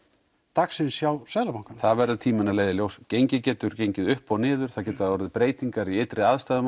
dagsins hjá Seðlabankanum það verður tíminn að leiða í ljós gengið getur gengið upp og niður það geta orðið breytingar í ytri aðstæðum